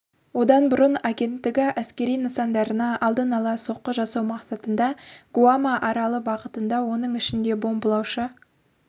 одан бұрын агенттігі әскери нысандарына алдын ала соққы жасау мақсатында гуама аралы бағытында оның ішінде бомбалаушы